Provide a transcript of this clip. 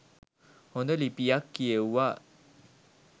හොඳ ලිපියක් කියෙව්වා.